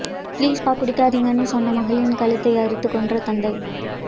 please பா குடிக்காதீங்கன்னு சொன்ன மகளின் கழுத்தை அறுத்துக் கொன்ற தந்தை